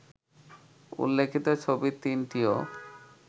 উল্লেখিত ছবি তিনটিও